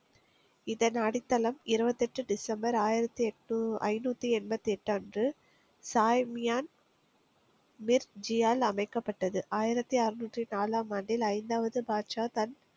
இதன் அடித்தளம் இருபத்தி எட்டு டிசம்பர் ஆயிரத்து எட்டு ஐந்நூத்தி எண்பத்தி எட்டு அன்று சாய்மியான் ஜியால் அமைக்கப்பட்டது ஆயிரத்தி அறநூற்றி நாலாம் ஆண்டில் ஐந்தாவது பாட்ஷா தன்